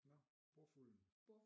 Nåh bordfulden